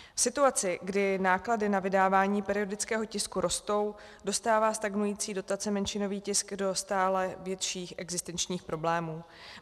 V situaci, kdy náklady na vydávání periodického tisku rostou, dostává stagnující dotaci menšinový tisk do stále větších existenčních problémů.